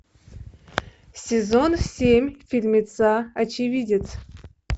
сезон семь фильмеца очевидец